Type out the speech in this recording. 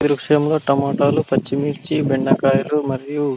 ఇక్కడ టమాటాలు పర్చి మిర్చి బెండకాయాలు మరియు--